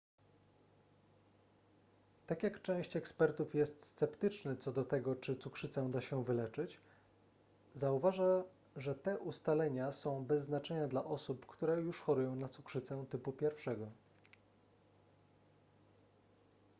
tak jak część ekspertów jest sceptyczny co do tego czy cukrzycę da się wyleczyć zauważa że te ustalenia są bez znaczenia dla osób którze już chorują na cukrzycę typu 1